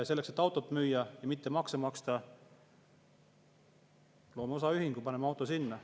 Selleks, et autot müüa ja mitte makse maksta, luuakse osaühing, pannakse auto sinna.